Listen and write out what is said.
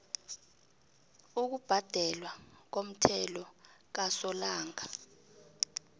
ukubhadelwa komthelo kasolanga